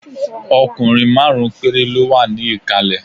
Ọkùnrin márùn-ún péré ló wà ní ìkàlẹ̀